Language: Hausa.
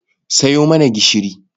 Sayo mana gishiri.